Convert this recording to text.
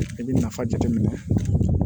I bɛ nafa jateminɛ